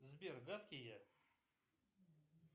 сбер гадкий я